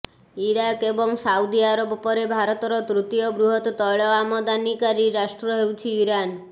Iraq ଏବଂ Saudi Arab ପରେ ଭାରତର ତୃତୀୟ ବୃହତ ତୈଳ ଆମଦାନୀକାରୀ ରାଷ୍ଟ୍ର ହେଉଛି ଇରାନ